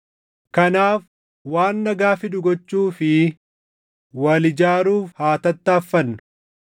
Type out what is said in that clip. Kanaaf waan nagaa fidu gochuu fi wal ijaaruuf haa tattaaffannu.